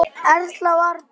Erla og Árni.